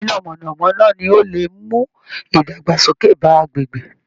Iná mọ̀nà-mọ́ná ni ó lè mú idagbasoke bá agbègbè